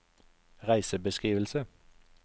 reisebeskrivelse